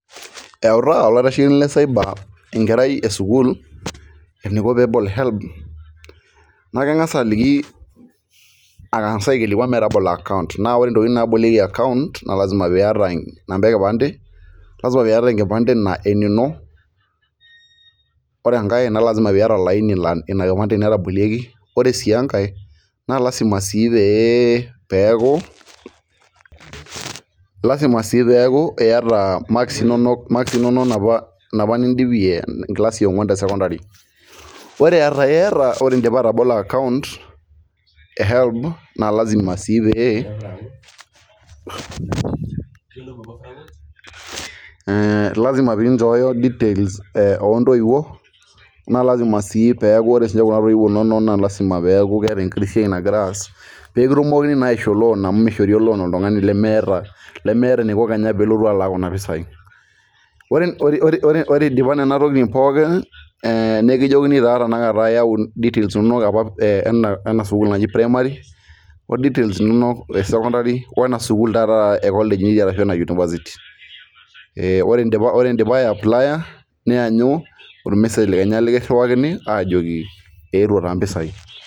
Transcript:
Eitaa olaitashekinoni le cyber enkerai esukuul eniko peetum helb, naa keng'as aliki, aikilikuan peebol account naa ore ntokitin naabolieki account naa lasima pee iyata enkae kipande, lasima peeyata enkipande enino, natabolieki pre sii enkae naa lasima sii peeku , iyata imakisi inonok enapa nidipie enkilasi yionguan te sekondari, ore ata iyata, ore idipa atabolo account e helb, naa lasima sii pee, inchooyo details oontoiwuo, pee ore sii ninye Kuna toiwuo inonok naa lasima peeku keeta enkitobsiai nagira aas, mishori oltungani loan lemeeta eniko Kenya tenelotu alaku Kuna pisai, ore eidipa Nena tokitin pookin nikijokini taa tenakata details inonok apa te primary o details inonok, esekondari wena sukuul taata e college pre idipa ai apply niyanyu ol message liiyakin, aajoki eetu taa mpisai.